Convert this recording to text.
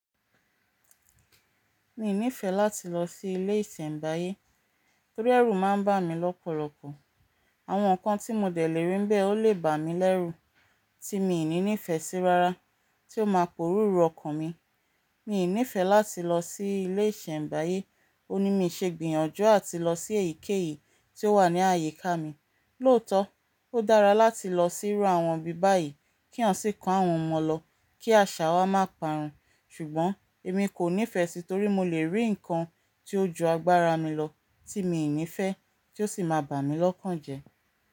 Mi i nífẹẹ láti lọ sí ilé ìsèmbáyé, torí ẹ̀rù máa ń bà mí lọ́pọ̀lọpọ̀. Àwọn nǹkan tí mo dẹ̀ lè rí ni bẹ́ẹ̀ ó lè bà mí lẹ́rù tí mi ò ní nífẹsí rárá tí ó máa pòrò ró ọkàn mi. Mi i nífẹẹ láti lọ sí ilé ìsèmbáyé, ó ní mi ṣe gbìyànjú àti lọ sí èyíkéyìí tí ó wà ní àyíká mi. Lóòtọ́, ó dára láti lọ sí irú àwọn ibi báyìí kí eeyan sì kó àwọn ọmọ lọ kí àṣà wa má pàrún, ṣùgbọ́n èmi kò nífẹẹ sí i torí mo lè rí ǹnkan tí ó ju agbára mi lọ tí mi i nífẹẹ tí ó sì máa bà mí lọ́kàn jẹ.